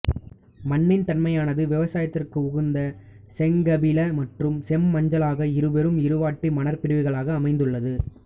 மண்ணின் தன்மையானது விவசாயத்திற்கு உகந்த செங்கபில மற்றும் செம்மஞ்சளாக இருபெரும் இருவாட்டி மணற்பிரிவுகாளாக அமைந்துள்ளது